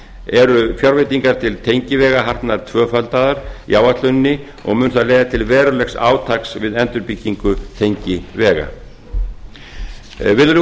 eru fjárveitingar til tengivega hafna tvöfaldaðar í áætluninni og mun það leiða til verulegs átaks við endurbyggingu tengivega virðulegur